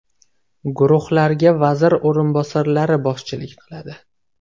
Guruhlarga vazir o‘rinbosarlari boshchilik qiladi.